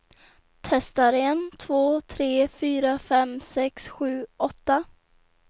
Testar en två tre fyra fem sex sju åtta.